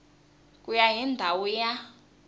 ku ya hi ndhawu ya